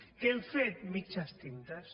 què hem fet mitges tintes